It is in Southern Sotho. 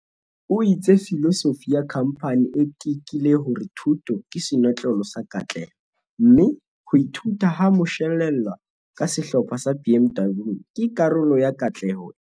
O itse filosofi ya khamphani e tekile hore thuto ke senotlolo sa katleho, mme "ho ithuta ha moshwelella ka Sehlopha sa BMW ke karolo ya katleho eo".